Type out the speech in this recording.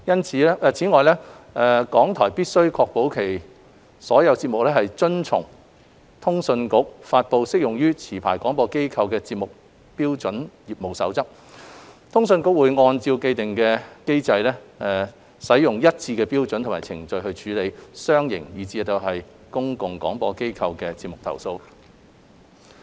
此外，港台必須確保其所有節目遵從通訊局發布適用於持牌廣播機構的節目標準業務守則，通訊局會按照既定機制，使用一致的標準及程序處理商營以至公共廣播機構的節目投訴。